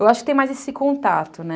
Eu acho que tem mais esse contato, né?